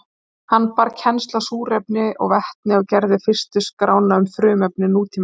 Hann bar kennsl á súrefni og vetni og gerði fyrstu skrána um frumefni nútímans.